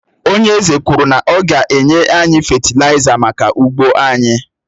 Ònye eze kwuru na ọ ga-enye anyị fétilaiza maka ugbo anyị